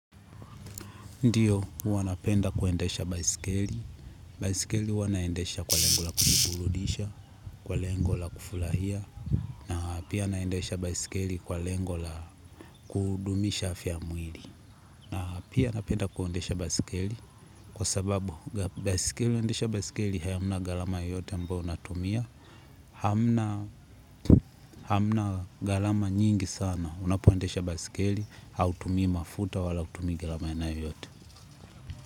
Ndio, huwa napenda kuendesha baiskeli. Baiskeli huwa naendasha kwa lengo la kujiburudisha, kwa lengo la kufurahia. Na pia naendesha baiskeli kwa lengo la kudumisha afya ya mwili. Na pia napenda kuendesha baiskeli kwa sababu baiskeli kuendesha baiskeli hayamna gharama yote ambayo unatumia. Hamna galama nyingi sana. Unapoendesha baiskeli, hautumii mafuta wala kutumia gharama aina yoyote.